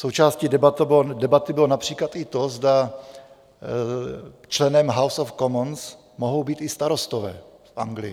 Součástí debaty bylo například i to, zda členem House of Commons mohou být i starostové v Anglii.